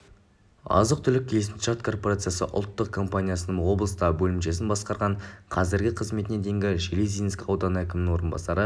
азық-түлік келісімшарт корпорациясы ұлттық компаниясының облыстағы бөлімшесін басқарған қазіргі қызметіне дейін железинск ауданы әкімінің орынбасары